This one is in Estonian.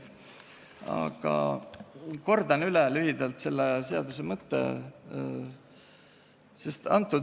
Aga kordan üle lühidalt selle seaduse mõtte.